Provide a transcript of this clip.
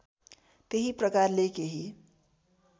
त्यही प्रकारले केही